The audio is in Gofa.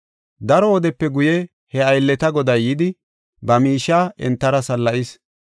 “Daro wodepe guye he aylleta goday yidi, ba miishiya entara salla7is.